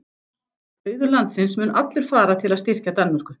Auður landsins mun allur fara til að styrkja Danmörku.